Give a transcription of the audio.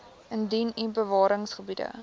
indien u bewaringsgebiede